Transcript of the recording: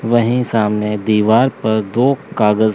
वहीं सामने दीवार पर दो कागज।